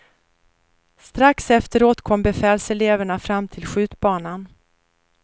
Strax efteråt kom befälseleverna fram till skjutbanan.